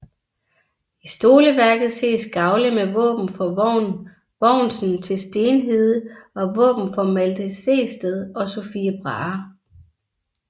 I stoleværket ses gavle med våben for Vogn Vognsen til Stenhede og våben for Malte Sehested og Sophie Brahe